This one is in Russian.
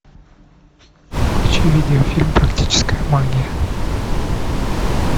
включи видеофильм практическая магия